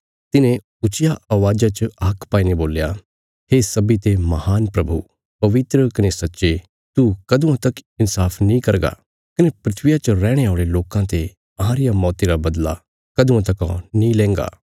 तिन्हें ऊच्चिया अवाज़ा च हाक पाईने बोल्या हे सब्बीं ते महान प्रभु पवित्र कने सच्चे तू कदुआं तक इन्साफ नीं करगा कने धरतिया च रैहणे औल़े लोकां ते अहां रिया मौती रा बदला कदुआं तका नीं लेंगा